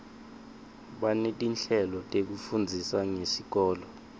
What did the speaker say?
banetinhlelo letifundzisa ngesikolo